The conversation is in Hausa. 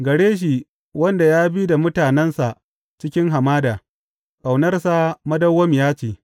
Gare shi wanda ya bi da mutanensa cikin hamada, Ƙaunarsa madawwamiya ce.